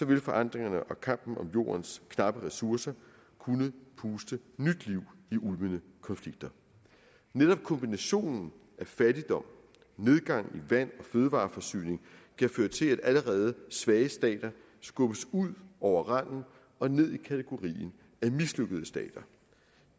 vil forandringerne og kampen om jordens knappe ressourcer kunne puste nyt liv i ulmende konflikter netop kombinationen af fattigdom og nedgang i vand og fødevareforsyning kan føre til at allerede svage stater skubbes ud over randen og ned i kategorien af mislykkede stater